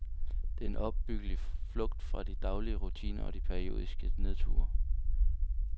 Det er en opbyggelig flugt fra de daglige rutiner og de periodiske nedture.